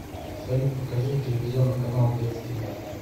салют покажи телевизионный канал детский мир